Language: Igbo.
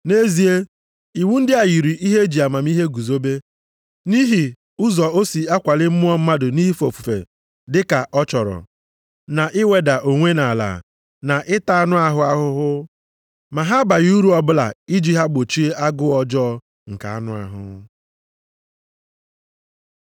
Nʼezie, iwu ndị a yiri ihe e ji amamihe guzobe, nʼihi ụzọ o si akwali mmụọ mmadụ nʼife ofufe dị ka ọ chọrọ, na iweda onwe nʼala, na ịta anụ ahụ ahụhụ. Ma ha abaghị uru o bụla iji ha gbochie agụụ ọjọọ nke anụ ahụ.